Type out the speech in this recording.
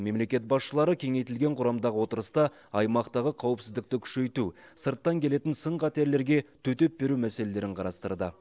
мемлекет басшылары кеңейтілген құрамдағы отырыста аймақтағы қауіпсіздікті күшейту сырттан келетін сын қатерлерге төтеп беру мәселелерін қарастырды